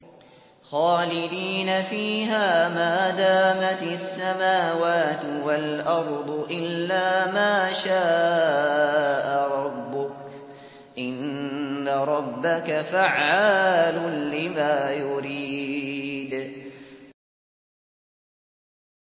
خَالِدِينَ فِيهَا مَا دَامَتِ السَّمَاوَاتُ وَالْأَرْضُ إِلَّا مَا شَاءَ رَبُّكَ ۚ إِنَّ رَبَّكَ فَعَّالٌ لِّمَا يُرِيدُ